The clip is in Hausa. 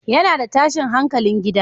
Yana da tashin hankalin gida